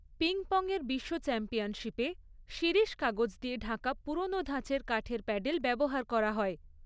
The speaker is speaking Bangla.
পিং পং এর বিশ্ব চ্যাম্পিয়নশিপে শিরীষ কাগজ দিয়ে ঢাকা পুরনো ধাঁচের কাঠের প্যাডেল ব্যবহার করা হয়।